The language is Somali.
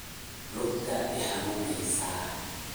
Luugtaa ixanuneysa.